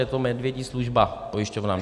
Je to medvědí služba pojišťovnám.